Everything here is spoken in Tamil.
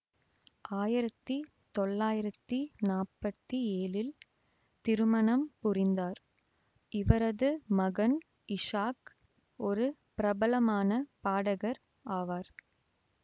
ஆயிரத்தி தொள்ளாயிரத்தி நாற்பத்தி ஏழில் திருமணம் புரிந்தார் இவரது மகன் இஷாக் ஒரு பிரபலமான பாடகர் ஆவார்